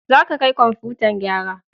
Za ka kai komfutan gyara!